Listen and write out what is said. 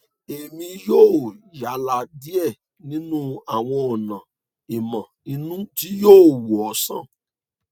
èmi yóò yálà díẹ nínú àwọn ọnà ìmọ inú tí yóò wò ọ sàn